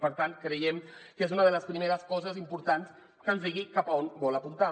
per tant creiem que és una de les primeres coses importants que ens digui cap a on vol apuntar